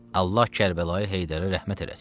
Allah Kərbəlayı Heydərə rəhmət eləsin.